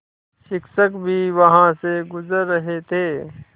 शिक्षक भी वहाँ से गुज़र रहे थे